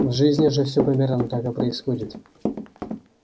в жизни же всё примерно так и происходит